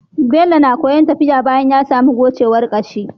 Bello na koyan tafiya bayan yasamu gocewar kashi